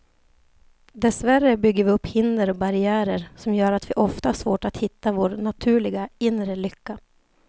Dessvärre bygger vi upp hinder och barriärer som gör att vi ofta har svårt att hitta vår naturliga, inre lycka.